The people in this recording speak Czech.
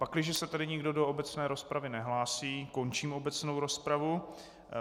Pakliže se tedy nikdo do obecné rozpravy nehlásí, končím obecnou rozpravu.